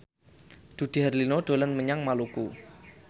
Dude Herlino dolan menyang Maluku